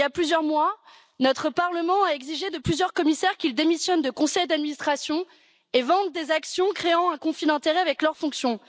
Il y a plusieurs mois, notre Parlement a exigé de plusieurs commissaires qu'ils démissionnent de conseils d'administration et vendent des actions sources de conflit d'intérêts avec leurs fonctions.